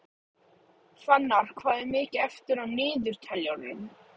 Fannar, hvað er mikið eftir af niðurteljaranum?